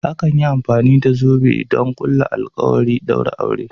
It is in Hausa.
Akan yi amfani da zobe don ƙulla alkawari da ɗaura aure.